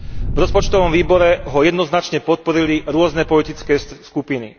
V rozpočtovom výbore ho jednoznačne podporili rôzne politické skupiny.